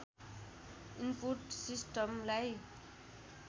input सिस्टमलाई